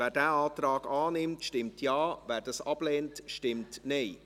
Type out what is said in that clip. Wer diesen Antrag annimmt, stimmt Ja, wer diesen ablehnt, stimmt Nein.